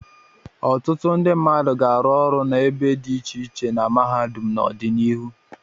Ọtụtụ ndị mmadụ ga-arụ ọrụ n'ebe dị iche iche na mahadum n'ọdịnihu.